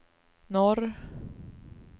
norr